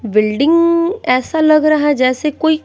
building ऐसा लग रहा है जैसे कोई--